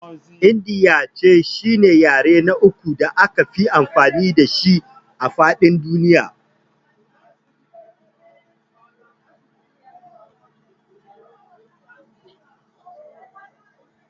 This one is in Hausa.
Indiyanci shine yare na uku da akafi amfani dashi a faɗin duniya.